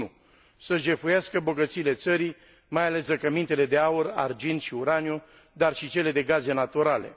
1. să jefuiască bogățiile țării, mai ales zăcămintele de aur, argint și uraniu, dar și cele de gaze naturale